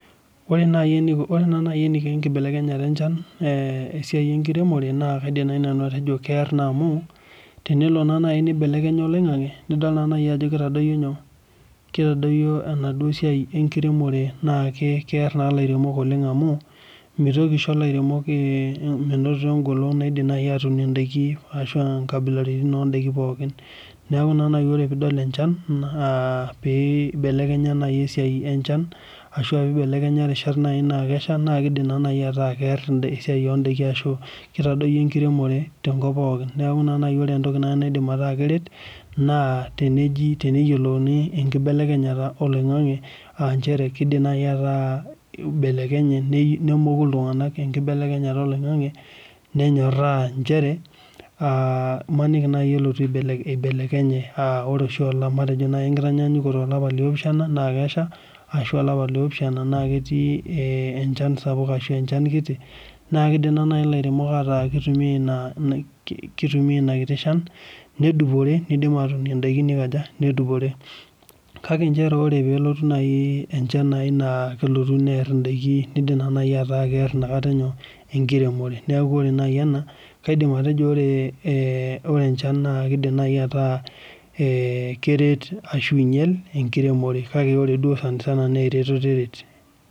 Ore naa nai eniko enkibelekenyata enchan esiai enkiremore naa kaidim naai nanu atejo keer amu tenelo naa nai nibelekenya oling'ang'e nidol naa nai ajo kitadoyio enaduo siai enkiremore naa kear naa ilairemok oleng amu mitoki aisho ilairemok menoto enkolon naidim nai ainotie indaiki naidim naai aanoto ashu aa inkabilaritin oon'daiki pookin Neaku naa nai ore piidol enchan naa piibelekenya nai esiai enchan ashu rishat naa kesha naa keidim naa nai ataa kear esiai oon'daiki ashu kitadoyio enkiremore tenkop pookin niaku ina nai entoki naidim ataa keret naa teneji teneyiolouni enkibelekenyata oloing'ang'ang'e aah nchere keidim naai ataa eibelekenye nemoku iltunganak enkibelekenyata oloing'ang'ang'e nenyorhaa nchere aa imaniki naaai elotu aibelekenya aah ore oshi enkitanyanyukoto olapa liopishana naa kesha ashu olapa liopishana naa ketii enchan sapuk ashu enchan kiti naa kiidim naa nai ilairemok aaku keitumia ina kiti shan nedupore neunie in'daiki kake nchere ore peeku nai enchan nai naa kelotu near in'daiki neidim naai ataaku kear enkiremore neaku ore nai ena naa ore enchan na keidim nai ataa keret ashu einyal enkiremore kake ore duo sanisana naa keret